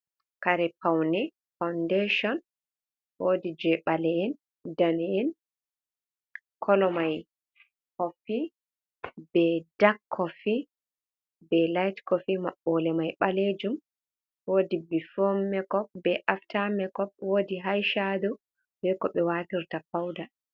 Karie pauni foundation, wodi je bale'en dana'en kolo mai kofi be dak kofi be laiht kofi maɓɓode mai ɓalejum wodi bifomakop be aftamakop wodi haishado beko ɓe watirta pauda.